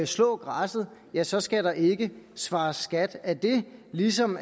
slå græsset ja så skal der ikke svares skat af det ligesom